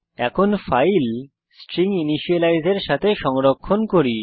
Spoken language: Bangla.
এখন ফাইল স্ট্রিনজিনিশিয়ালাইজ এর সাথে সংরক্ষণ করি